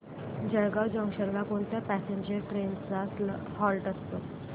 Jalgaon junction ला कोणत्या passenger trains चा हॉल्ट असतो